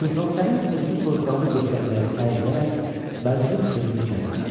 Sultan Səlim özünü soyuqqanlı göstərməyə səy edərək, vəzirin sözünü kəsmədi.